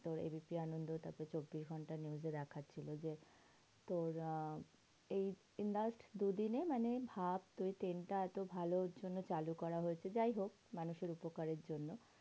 তো A B P আনন্দে তো চব্বিশ ঘন্টা news এ দেখাচ্ছে। ওইযে তোর আহ এই এই last দুদিনে মানে ভাব তুই ট্রেনটা এত ভালোর জন্য চালু করা হয়েছে। যাইহোক মানে মানুষের উপকারের জন্য।